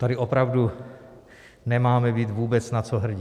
Tady opravdu nemáme být vůbec na co hrdí.